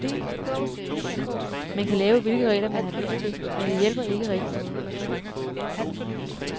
Man kan lave, hvilke regler, man har lyst til, men det hjælper ikke rigtigt noget.